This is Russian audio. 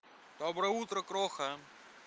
доброе утро кроха